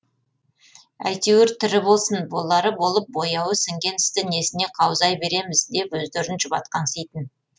әйтеуір тірі болсын болары болып бояуы сіңген істі несіне қаузай береміз деп өздерін жұбатқанситын